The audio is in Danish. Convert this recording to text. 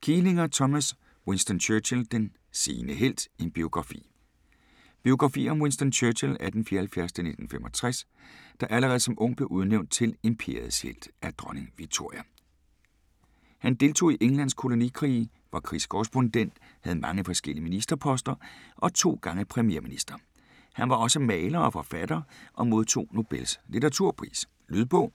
Kielinger, Thomas: Winston Churchill: den sene helt: en biografi Biografi om Winston Churchill (1874-1965), der allerede som ung blev udnævnt til "Imperiets helt" af Dronning Victoria. Han deltog i Englands kolonikrige, var krigskorrespondent, havde mange forskellige ministerposter og 2 gange premierminister. Han var også maler og forfatter og modtog Nobels litteraturpris. Lydbog